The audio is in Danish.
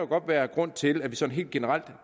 godt være grund til at vi sådan helt generelt